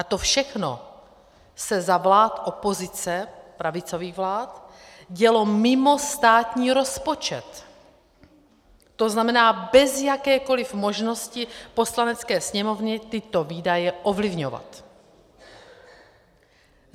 A to všechno se za vlád opozice, pravicových vlád, dělo mimo státní rozpočet, to znamená bez jakékoli možnosti Poslanecké sněmovny tyto výdaje ovlivňovat.